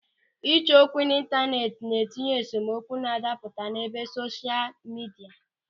Ịchọ okwu n'ịntaneti na-etinye esemokwu na-adapụta n'ebe sosha midia.